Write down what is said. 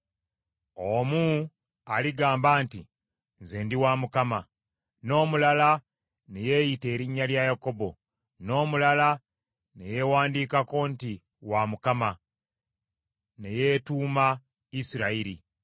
Omu aligamba nti, ‘Nze ndi wa Mukama ,’ n’omulala ne yeeyita erinnya lya Yakobo, n’omulala ne yeewandiikako nti, ‘Wa Mukama ,’ ne yeetuuma Isirayiri.